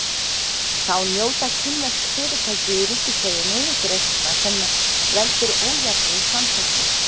Þá njóta kínversk fyrirtæki í ríkiseigu niðurgreiðslna sem veldur ójafnri samkeppni.